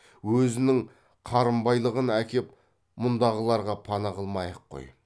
өзінің қарынбайлығын әкеп мұндағыларға пана қылмай ақ қой